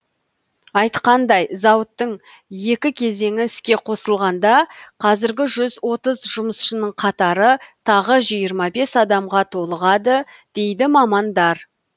айтқандай зауыттың екі кезеңі іске қосылғанда қазіргі жүз отыз жұмысшының қатары тағы жиырма бес адамға толығады дейді мамандар